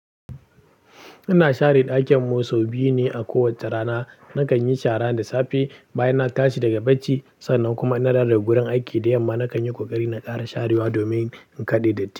Ina share ɗakin mu so biyu ne a kowacce rana. Nakan yi shara da safe bayan na tashi daga bacci, sannan kuma idan na dawo daga gurin aiki, da yamma nakan yi ƙoƙari na ƙara sharewa domin in kaɗe datti.